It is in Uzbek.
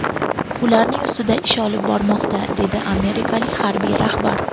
Ularning ustida ish olib borilmoqda”, dedi amerikalik harbiy rahbar.